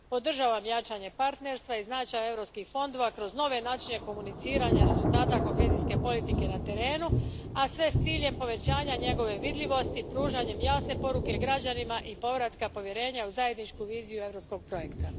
Podržavam jačanje partnerstva i značaj europskih fondova kroz nove načine komuniciranja rezultata kohezijske politike na terenu, a sve u cilju povećanja njegove vidljivosti, pružanjem jasne poruke građanima, i povratka povjerenja u zajedničku viziju europskog projekta.